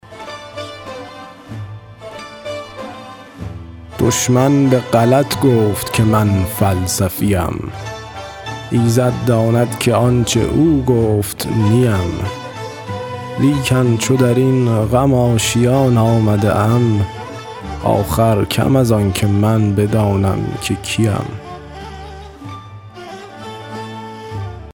دشمن به غلط گفت که من فلسفی ام ایزد داند که آنچه او گفت نی ام لیکن چو در این غم آشیان آمده ام آخر کم از آنکه من بدانم که کی ام